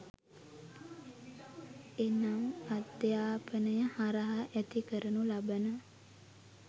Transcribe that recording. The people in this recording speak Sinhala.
එනම් අධ්‍යාපනය හරහා ඇති කරනු ලබන